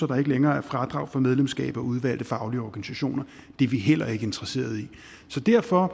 der ikke længere er fradrag for medlemskab af udvalgte faglige organisationer det er vi heller ikke interesseret i så derfor